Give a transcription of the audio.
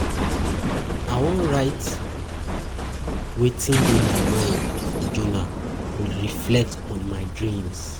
I wan write wan write wetin dey my mind for journal, reflect on my dreams.